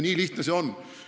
Nii lihtne see ongi.